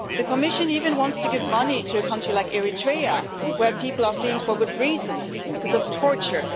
The Commission even wants to give money to a country like Eritrea, where people are fleeing for good reasons because of torture